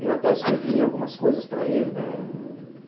Eu até escrevi algumas coisas para ele, né?